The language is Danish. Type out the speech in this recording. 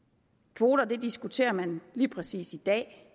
kvoter diskuterer man lige præcis i dag